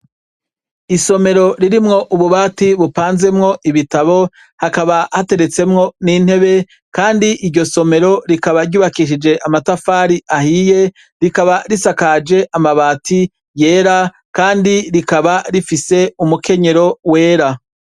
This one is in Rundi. Isomero ririmwo ububati bupanzemwo ibitabo hakaba hateretsemwo n’intebe , Kandi iryo somero rikaba ryubakishije amatafari ahiye, rikaba risakaje amabati yera Kandi rikaba rifise umukenyero wera.